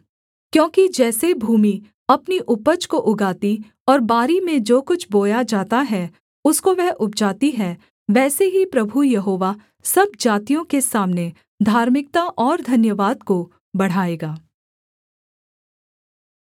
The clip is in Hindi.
क्योंकि जैसे भूमि अपनी उपज को उगाती और बारी में जो कुछ बोया जाता है उसको वह उपजाती है वैसे ही प्रभु यहोवा सब जातियों के सामने धार्मिकता और धन्यवाद को बढ़ाएगा